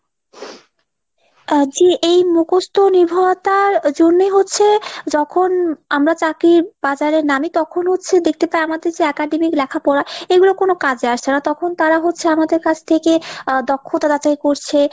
আহ যে এই মুখস্ত নির্ভরতার জন্যেই হচ্ছে যখন আমরা চাকরির বাজারে নামি তখন হচ্ছে দেখতে পাই আমাদের academic লেখাপড়া এগুলো কোনো কাজে আসছেনা। তখন তারা হচ্ছে আমাদের কাছ থেকে আহ দক্ষতা যাচাই করছে,